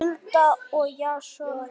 Hulda og Jason.